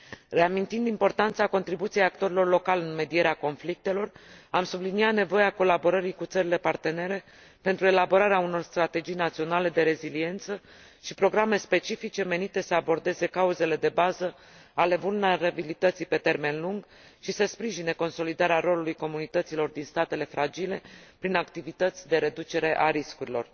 Reamintind importanța contribuției actorilor locali în medierea conflictelor, am subliniat nevoia colaborării cu țările partenere pentru elaborarea unor strategii naționale de reziliență și programe specifice menite să abordeze cauzele de bază ale vulnerabilității pe termen lung și să sprijine consolidarea rolului comunităților din statele fragile prin activități de reducere a riscurilor.